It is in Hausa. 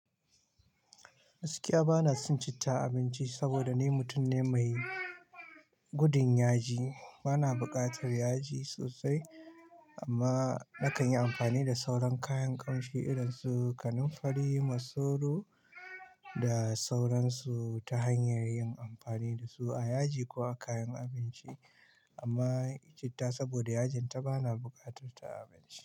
Gaskiya bana son citta abinci saboda ni mutum ne mai gudun yaji. Bana buƙatar yaji sosai amma na kan yi amfani da sauran kayan kamshi irin su kanunfari, masoro da sauransu ta hanyar yin amfani da su a yaji ko a kayan abinci. Amma citta saboda yajinta bana buƙatar ta a abinci.